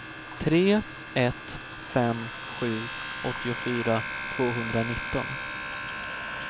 tre ett fem sju åttiofyra tvåhundranitton